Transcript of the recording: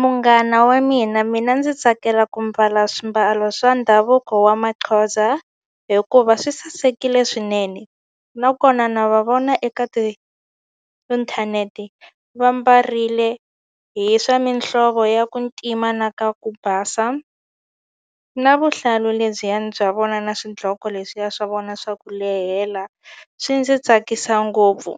Munghana wa mina mina ndzi tsakela ku mbala swimbalo swa ndhavuko wa Maxhosa hikuva swi sasekile swinene nakona na va vona eka ti inthanete va mbarile hi swa mihlovo ya ku ntima na ka ku basa na vuhlalu lebyiyani bya vona na swidloko leswiya swa vona swa ku lehela swi ndzi tsakisa ngopfu